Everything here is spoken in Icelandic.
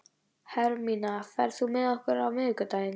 Hermína, ferð þú með okkur á miðvikudaginn?